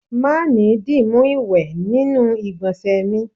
Ma ni dimu iwe ninu igbonse mi